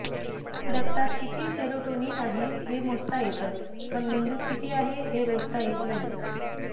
रक्तात कीती सेरोटोनीन आहे हे मोजता येते पण मेंदूत कीती आहे हे मोजता येत नाही